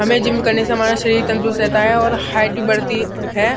हमे जिम करने से हमरा शरीर तंदुरुस्त रहता है और हाईट भी बढ़ती है।